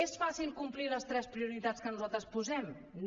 és fàcil complir les tres prioritats que nosaltres posem no